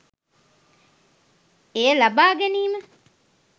එය ලබා ගැනීම